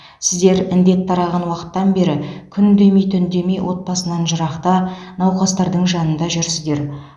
сіздер індет тараған уақыттан бері күн демей түн демей отбасынан жырақта науқастардың жанында жүрсіздер